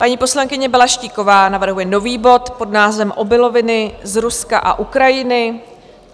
Paní poslankyně Balaštíková navrhuje nový bod pod názvem Obiloviny z Ruska a Ukrajiny.